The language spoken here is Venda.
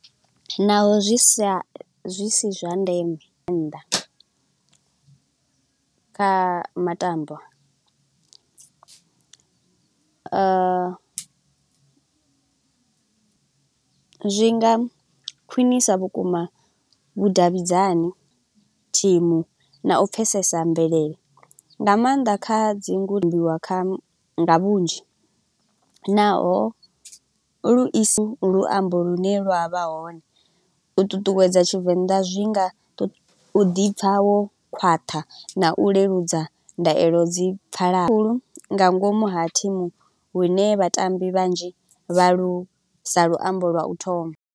Naho zwi sa zwi si zwa ndeme nnḓa kha matambo, zwi nga khwinisa vhukuma vhudavhidzani thimu na u pfesesa mvelele, nga maanḓa kha dzi ambiwa kha nga vhunzhi naho, lu isa luambo lu ne lwa vha hone. U ṱuṱuwedza Tshivenḓa zwi nga u ḓi pfa wo khwaṱha na u leludza ndaulo dzi pfala. Khulu nga ngomu ha thimu lune vhatambi vhanzhi vha lu sa luambo lwa u thoma.